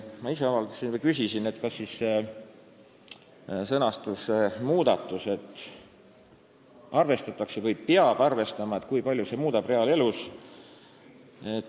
Ma ise küsisin, kui palju siis sõnastuse muutmine – "arvestatakse" või "peab arvestama" – muudab midagi reaalelus ja just juriidiliselt.